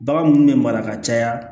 Bagan munnu bɛ mara ka caya